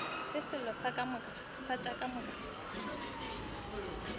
se selo tše ka moka